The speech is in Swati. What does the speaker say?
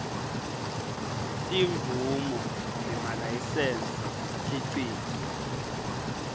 timvumo nemalayisensi umkhicito